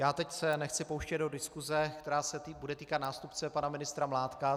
Já se teď nechci pouštět do diskuse, která se bude týkat nástupce pana ministra Mládka.